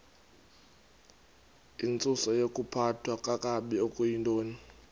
intsusayokuphathwa kakabi okuyintoni